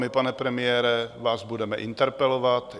My, pane premiére, vás budeme interpelovat.